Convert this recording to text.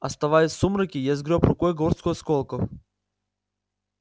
оставаясь в сумраке я сгрёб рукой горстку осколков